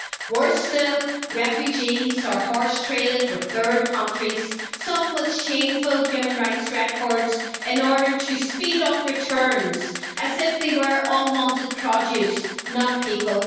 Worse still, refugees are horse traded with third countries, some with shameful human rights records, in order to speed up returns, as if they were unwanted produce, not people.